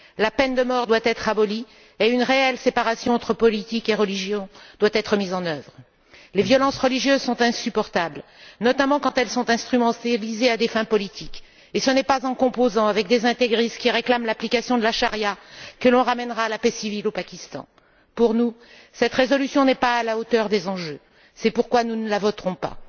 La peine de mort doit être abolie, et une réelle séparation entre politique et religion doit être mise en œuvre. Les violences religieuses sont insupportables, notamment quand elles sont instrumentalisées à des fins politiques, et ce n'est pas en composant avec des intégristes qui réclament l'application de la charia que l'on ramènera la paix civile au Pakistan. Pour nous, cette résolution n'est pas à la hauteur des enjeux, c'est pourquoi nous ne la voterons pas.